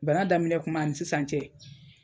Bana daminɛ kuma ani sisan cɛ.